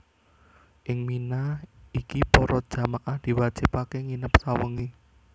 Ing Mina iki para jamaah diwajibaké nginep sawengi